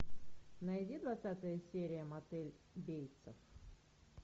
найди двадцатая серия мотель бейтса